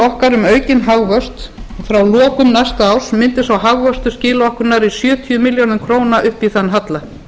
okkar um aukinn hagvöxt frá lokum næsta árs mundi sá hagvöxtur skila okkur nærri sjötíu milljónum króna upp í þann halla